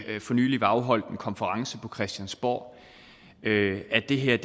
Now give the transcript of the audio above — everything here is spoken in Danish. nylig blev afholdt en konference på christiansborg at det her